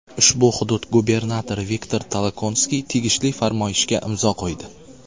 Ushbu hudud gubernatori Viktor Tolokonskiy tegishli farmoyishga imzo qo‘ydi.